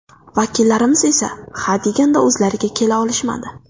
Vakillarimiz esa ha deganda o‘zlariga kela olishmadi.